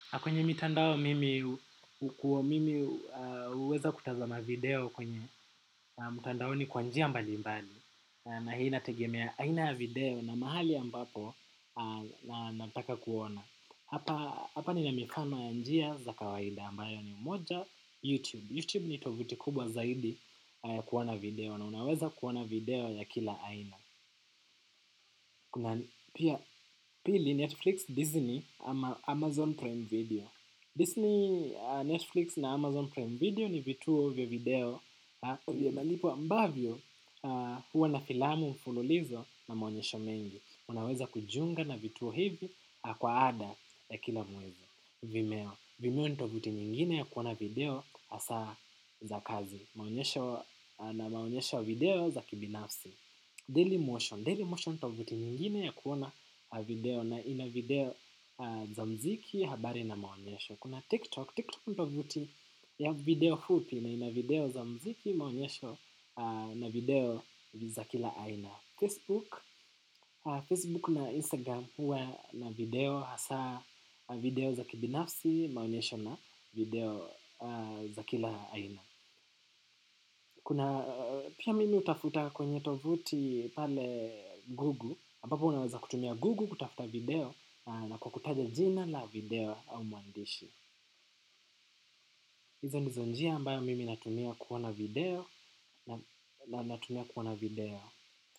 Kwenye mitandao mimi huweza kutazama video kwenye mtandaoni kwa njia mbali mbali na hii inategemea aina ya video na mahali ambapo na nataka kuona. Hapa ni na mifano ya njia za kawaida ambayo ni moja YouTube. YouTube ni tovuti kubwa zaidi ya kuona video na unaweza kuona video ya kila aina. Kuna pili Netflix, Disney, Amazon Prime Video Disney, Netflix na Amazon Prime Video ni vituo vya video vya malipo ambavyo huwa na filamu mfululizo na maonyesho mengi. Unaweza kujiunga na vituo hivi kwa ada ya kila mwezi Vimeo, vimeo nitovuti nyingine ya kuona video asa za kazi. Na maonyesho ya video za kibinafsi Daily motion, daily motion ni tovuti nyingine ya kuona video na ina video za mziki habari na maonyesho. Kuna TikTok, TikTok ni tovuti ya video fupi na ina video za mziki maonyesho na video za kila aina. Facebook, Facebook na Instagram huwa na video hasa video za kibinafsi maonyesho na video za kila aina. Kuna pia mimi utafuta kwenye tovuti pale Google ambapo unaweza kutumia Google kutafuta video na kwa kutaja jina la video au muandishi. Hizo ndizonjia ambayo mimi natumia kuona video na natumia kuona video.